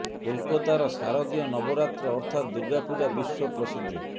କୋଲକାତାର ଶାରଦୀୟ ନବରାତ୍ର ଅର୍ଥାତ ଦୁର୍ଗା ପୂଜା ବିଶ୍ବ ପ୍ରସିଦ୍ଧ